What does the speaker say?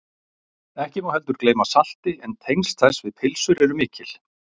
ekki má heldur gleyma salti en tengsl þess við pylsur eru mikil